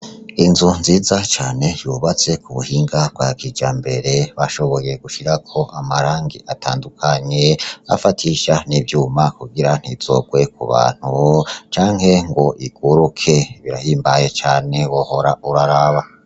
Inzu nziza cane yubatse ku buhinga ba ku buhinga bwa kijambere, bashoboye gushirako amarangi atandukanye, afatisha n' ivyuma kugira ntizogwe ku bantu canke ngo iguruke.